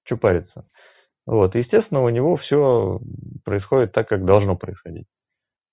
что парится вот естественного у него все происходит так как должно происходить